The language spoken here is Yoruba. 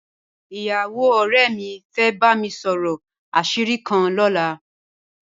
Ìyàwó ọ̀rẹ́ mi fẹ́ bá mi sọ̀rọ̀ àṣírí kan lọ́la